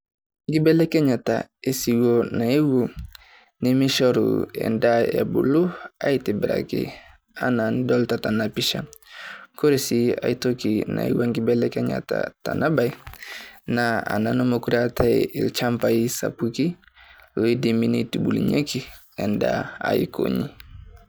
Nkibelekenyata e siwuo naiyeuo nemeisharuu endaa ebuluu aitibiraki ena nidolita tenaa pishaa. Kore si ai ntokii naiyeuo nkibekenyata tenaa baye naa ana nemekore etai elchambaa sapuki o diimi neitubulunyeki endaa aikonyi.